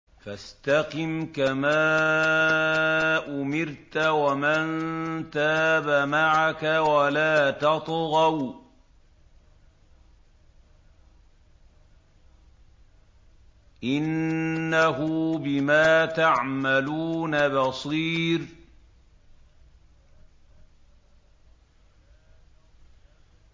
فَاسْتَقِمْ كَمَا أُمِرْتَ وَمَن تَابَ مَعَكَ وَلَا تَطْغَوْا ۚ إِنَّهُ بِمَا تَعْمَلُونَ بَصِيرٌ